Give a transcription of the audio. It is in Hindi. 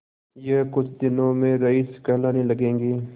यह कुछ दिनों में रईस कहलाने लगेंगे